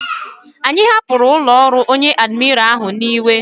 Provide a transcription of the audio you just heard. Anyi hapuru ulo oru onye admira ahu n'iwe